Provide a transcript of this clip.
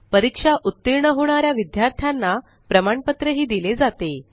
परीक्षेत उत्तीर्ण होणाऱ्या विद्यार्थ्यांना प्रमाणपत्र दिले जाते